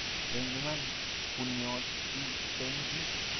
eng Iman, bunnyot chi eng chi